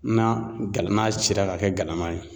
N'a cira ka kɛ galama ye.